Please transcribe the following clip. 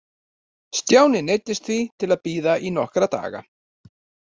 Stjáni neyddist því til að bíða í nokkra daga.